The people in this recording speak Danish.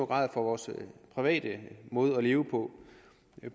grad for vores private måde at leve på